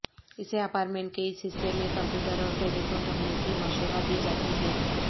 اسے اپارٹمنٹ کے اس حصے میں کمپیوٹر اور ٹیلیفون رکھنے کی مشورہ دی جاتی ہے